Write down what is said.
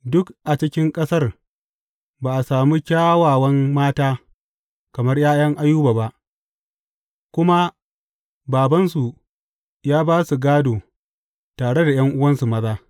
Duk a cikin ƙasar ba a samu kyawawan mata kamar ’ya’yan Ayuba ba, kuma babansu ya ba su gādo tare ta ’yan’uwansu maza.